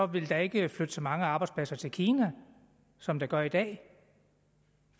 vil der ikke flytte så mange arbejdspladser til kina som der gør i dag